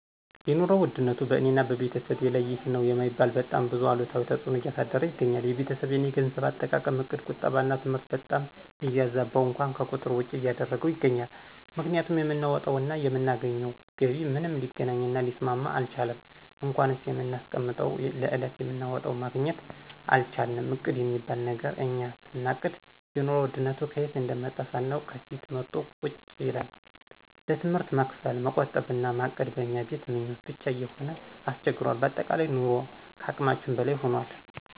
የኑሮ ውድነቱ በእኔና በቤተሰቤ ላይ ይህ ነዉ የማይባል በጣም ብዙ አሉታዊ ተጽእኖን እያሳደረ ይገኛል። የቤተሰቤን የገንዘብ አጠቃቀም እቅድ ቁጠባና ትምህርት በጣም እያዛበው እንኳን ከቁጥር ውጭ እያረገው ይገኛል፤ ምክንያቱም የምናወጣው እና የምናገኘው ገቢ ምንም ሊገናኝ እና ሊስማማ አልቻለም እንኳንስ የምናስቀምጠው ለዕለት የምናወጣውም ማግኘት አልቻልንም እቅድ የሚባል ነገር እኛ ስናቅድ የኑሮ ውድነቱ ከየት እንደመጣ ሳናውቅ ከፊት መቶ ቁጭ ይላል፣ ለትምህርት መክፈል፣ መቆጠብ እና ማቀድ በእኛ ቤት ምኞት ብቻ እየሆነ አስቸግሯል በአጠቃላይ ኑሮ ከአቅማችን በላይ ሁኗል።